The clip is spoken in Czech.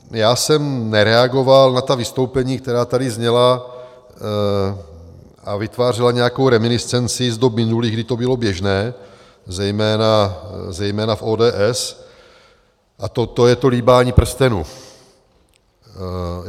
Já jsem nereagoval na ta vystoupení, která tady zněla a vytvářela nějakou reminiscenci z dob minulých, kdy to bylo běžné, zejména v ODS, a to je to líbání prstenu.